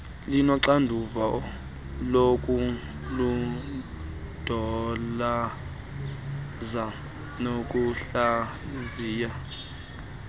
linoxanduva lokulondoloza nokuhlaziya